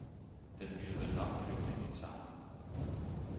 Den ville vel nok pynte i min samling.